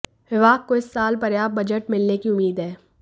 विभाग को इस साल पर्याप्त बजट मिलने की उम्मीद है